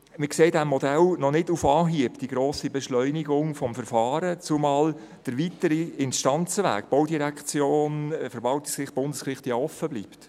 Wir sehen in diesem Modell noch nicht auf Anhieb die grosse Beschleunigung des Verfahrens, zumal der weitere Instanzenweg, Baudirektion, Verwaltungsgericht, Bundesgericht, ja offenbleibt.